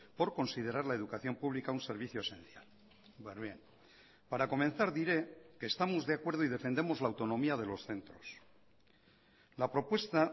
por considerar la educación pública un servicio esencial para comenzar diré que estamos de acuerdo y defendemos la autonomía de los centros la propuesta